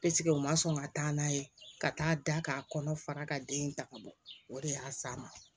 u ma sɔn ka taa n'a ye ka taa k'a kɔnɔ fara ka den ta ka bɔ o de y'a s'a ma